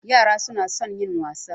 Yara su na son yin wasa